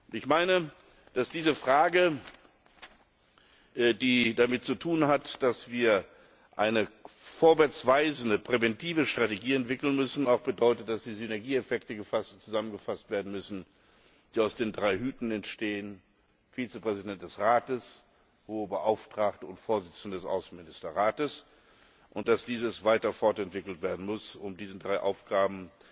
Ich meine, dass diese Frage, die damit zu tun hat, dass wir eine vorwärtsweisende präventive Strategie entwickeln müssen, auch bedeutet, dass die Synergieeffekte zusammengefasst werden müssen, die aus den drei Hüten entstehen Vizepräsidentin des Rates, Hohe Beauftragte und Vorsitzende des Außenministerrates und dass diese Strategie weiter fortentwickelt werden muss, um diesen drei Aufgaben